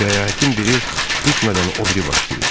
Səyahətin biri bitmədən o biri başlayır.